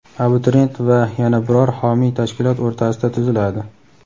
abituriyent va yana biror homiy tashkilot o‘rtasida tuziladi.